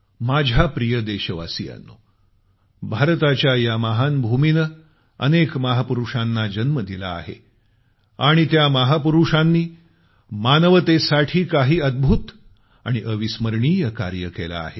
माझ्या प्रिय देशवासियांनो भारताच्या या महान भूमीनं अनेक महापुरूषांना जन्म दिला आहे आणि त्या महापुरूषांनी मानवतेसाठी काही अद्भुत आणि अविस्मरणीय कार्य केलं आहे